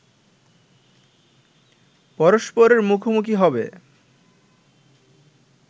পরস্পরের মুখোমুখি হবে